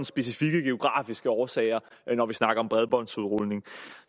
specifikke geografiske årsager når vi snakker om bredbåndsudrulning